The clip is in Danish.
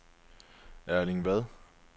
Erling Vad